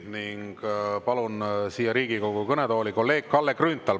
Ning palun siia Riigikogu kõnetooli kolleeg Kalle Grünthali.